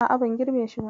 A'a, ban girbe shi ba.